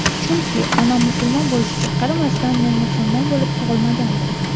Chunki onam musulmon bo‘lishiga qaramasdan men musulmon bo‘lib tug‘ilmagandim.